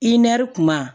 I nɛri kuma